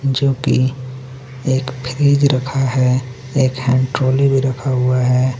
जोकि एक फ्रिज रखा है एक यहाँ हैंड ट्रौली भी रखा हुआ है।